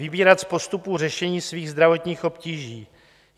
Vybírat z postupů řešení svých zdravotních obtíží.